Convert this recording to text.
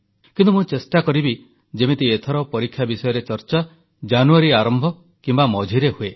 କିନ୍ତୁ ମୁଁ ଚେଷ୍ଟା କରିବି ଯେମିତି ଏଥର ପରୀକ୍ଷା ବିଷୟରେ ଚର୍ଚ୍ଚା ଜାନୁୟାରୀ ଆରମ୍ଭ କିମ୍ବା ମଝିରେ ହୁଏ